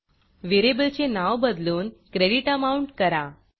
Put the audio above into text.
variable चे नाव बदलून क्रेडिट Amountक्रेडिट अमाउंट करा